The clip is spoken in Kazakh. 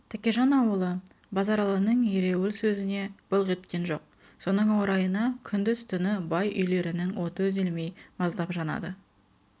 тәкежан ауылы базаралының ереуіл сезіне былқ еткен жоқ соның орайына күңдіз-түні бай үйлерінің оты үзілмей маздапжанады